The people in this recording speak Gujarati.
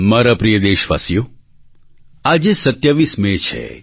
મારા પ્રિય દેશવાસીઓ આજે 27 મે છે